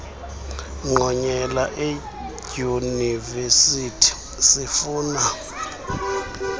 ngqonyela eedyunivesithi sifuna